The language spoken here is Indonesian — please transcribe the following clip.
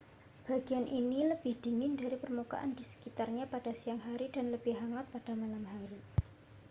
bagian ini lebih dingin dari permukaan di sekitarnya pada siang hari dan lebih hangat pada malam hari